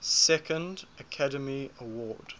second academy award